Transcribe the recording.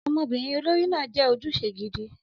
Ọmọbìnrin olórí náà jẹ́ ojúṣe gidi.